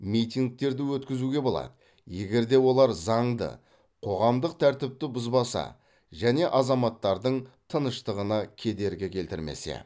митингтерді өткізуге болады егер де олар заңды қоғамдық тәртіпті бұзбаса және азаматтардың тыныштығына кедергі келтірмесе